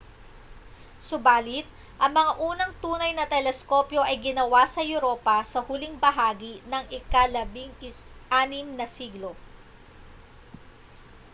subali't ang mga unang tunay na teleskopyo ay ginawa sa europa sa huling bahagi ng ika-16 na siglo